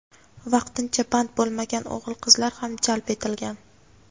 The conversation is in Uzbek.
vaqtincha band bo‘lmagan o‘g‘il-qizlar ham jalb etilgan.